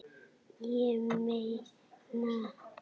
Ég meina